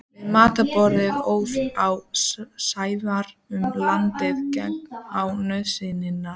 Við matarborðið óð á Sævari um landsins gagn og nauðsynjar.